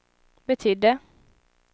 betydde